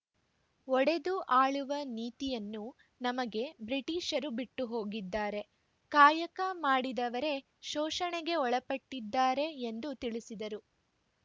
ಒಡೆದು ಆಳುವ ನೀತಿಯನ್ನು ನಮಗೆ ಬ್ರಿಟಿಷರು ಬಿಟ್ಟುಹೋಗಿದ್ದಾರೆ ಕಾಯಕ ಮಾಡಿದವರೆ ಶೋಷಣೆಗೆ ಒಳಪಟ್ಟಿದ್ದಾರೆ ಎಂದು ತಿಳಿಸಿದರು